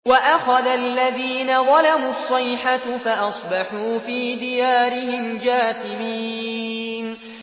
وَأَخَذَ الَّذِينَ ظَلَمُوا الصَّيْحَةُ فَأَصْبَحُوا فِي دِيَارِهِمْ جَاثِمِينَ